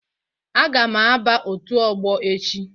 A ga m aba otu ọgbọ echi